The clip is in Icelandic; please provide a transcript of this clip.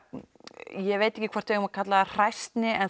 ég veit ekki hvort við eigum að kalla það hræsni en